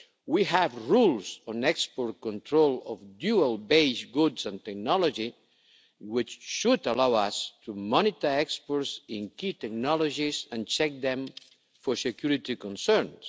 We have rules on the export control of dual base goods and technology, which should allow us to monitor exports in key technologies and check them for security concerns.